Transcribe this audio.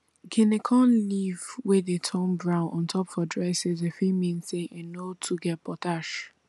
guinea corn leaf wey dey turn brown ontop for dry season fit mean say e no too get potash